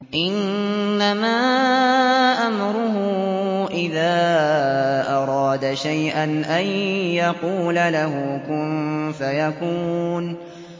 إِنَّمَا أَمْرُهُ إِذَا أَرَادَ شَيْئًا أَن يَقُولَ لَهُ كُن فَيَكُونُ